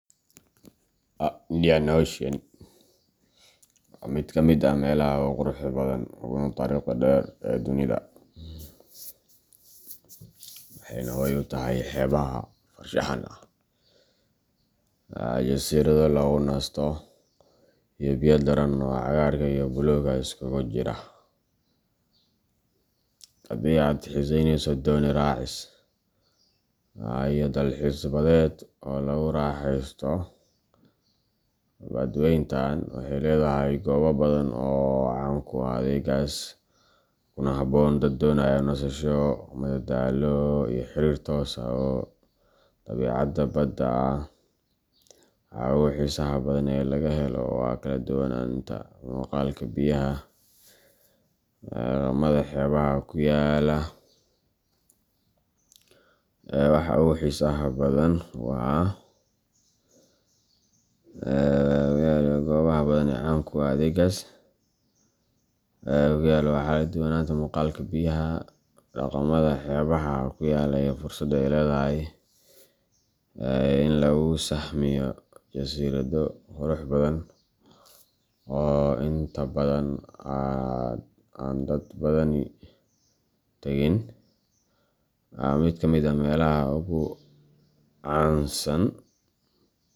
Indian Ocean waa mid ka mid ah meelaha ugu quruxda badan uguna taariikhda dheer ee dunida, waxayna hoy u tahay xeebaha farshaxan ah, jasiirado lagu nasto, iyo biyo diirran oo cagaarka iyo buluugga isugu jira. Haddii aad xiiseyneyso dooni raacis iyo dalxiis badeed oo lagu raaxaysto, badweyntan waxay leedahay goobo badan oo caan ku ah adeeggaas, kuna habboon dad doonaya nasasho, madadaalo, iyo xiriir toos ah oo dabiicadda badda ah. Waxa ugu xiisaha badan ee laga helo waa kala duwanaanta muuqaalka biyaha, dhaqamada xeebaha ku yaalla, iyo fursadda ay leedahay in lagu sahmiyo jasiirado qurux badan oo inta badan aan dad badani tagin. Mid ka mid ah meelaha ugu caansan.